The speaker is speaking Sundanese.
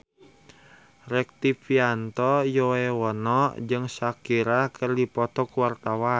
Rektivianto Yoewono jeung Shakira keur dipoto ku wartawan